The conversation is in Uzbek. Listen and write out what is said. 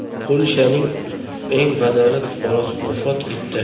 Polshaning eng badavlat fuqarosi vafot etdi.